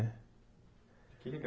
Que legal